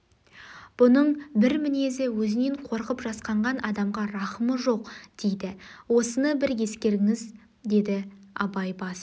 бұның бір мінезі өзінен қорқып жасқанған адамға рахымы жоқ дейді осыны бір ескеріңіз деді абай бас